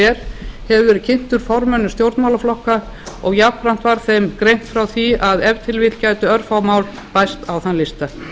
er hefur verið kynntur formönnum stjórnmálaflokka og jafnframt var þeim greint frá því að ef til vill gætu örfá mál bæst á þann lista